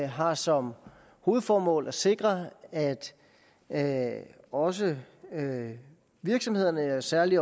har som hovedformål at sikre at at også virksomhederne og særlig